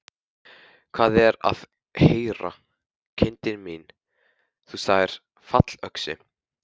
Hvað er að heyra, kindin mín, þú sagðir fallöxi.